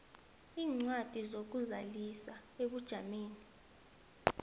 iincwadi zokuzazisa ebujameni